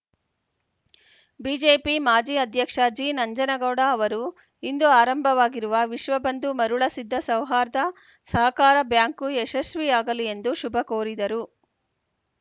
BJP ಮಾಜಿ ಅಧ್ಯಕ್ಷ ಜಿನಂಜನಗೌಡ ಅವರು ಇಂದು ಆರಂಭವಾಗಿರುವ ವಿಶ್ವಬಂಧು ಮರುಳ ಸಿದ್ದ ಸೌಹಾರ್ಧ ಸಹಕಾರ ಬ್ಯಾಂಕು ಯಶಸ್ವಿಯಾಗಲಿ ಎಂದು ಶುಭಕೋರಿದರು